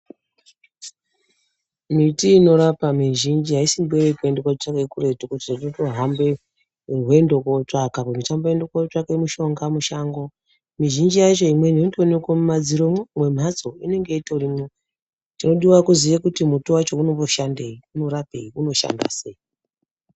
Miti inorapa mizhinji haisimboo yekuende kunotsvake kuretu kuti uchitohambe nerwendo kotsvaka kuti ndichamboende kunotsvake mushonga mushango mizhinji yacho imweni inotoonekwe mumadziromwo mwemhatso inenge itorimwo chodiwa kuziye kuti muti wacho unonmboshandeyi unorapeyi unoshanda sei.